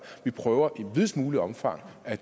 vi prøver i videst muligt omfang at